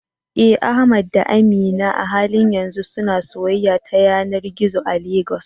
Eh, Ahmad da Amina a halin yanzu suna soyayya ta yanar gizo a Legas.